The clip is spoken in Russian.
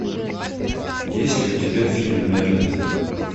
есть ли у тебя фильм мерлин